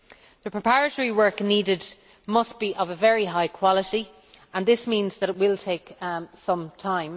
The preparatory work needed must be of a very high quality, and this means that it will take some time.